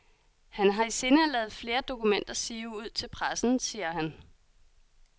Han har i sinde at lade flere dokumenter sive ud til pressen, siger han.